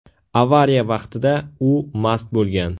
Avariya vaqtida u mast bo‘lgan.